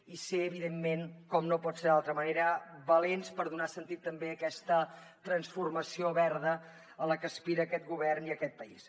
i ser evidentment com no pot ser d’altra manera valents per donar sentit també a aquesta transformació verda a la que aspira aquest govern i aquest país